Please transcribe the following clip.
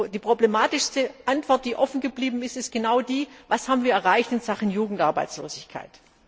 Die problematischste Antwort, die offen geblieben ist, ist genau die Was haben wir erreicht in Sachen Jugendarbeitslosigkeit?